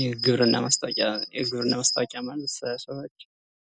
የግብርና ማስታዎቂያ፦ የግብርና ማስታዎቂያ ማለት የተለያዩ ሰዎች